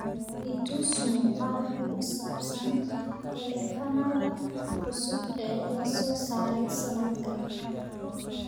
i tus muuqaal ku saabsan taleefannada cusub ee la soo saaray sanadkan